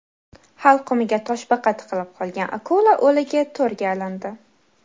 Halqumiga toshbaqa tiqilib qolgan akula o‘ligi to‘rga ilindi .